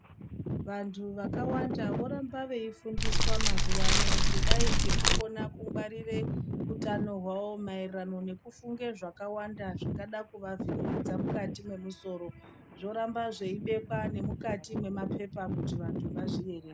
Vantu vakawanda voramba veifundiswa mazuwano kudai ngekukona kungwarire utano hwawo maererano nekufunge zvakawanda zvingadai kuvavhiringidza mukati memusoro zvoramba zvei bekwa nemukati memapepa kuti vantu vazviverenge.